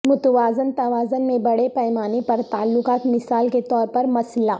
متوازن توازن میں بڑے پیمانے پر تعلقات مثال کے طور پر مسئلہ